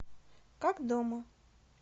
как дома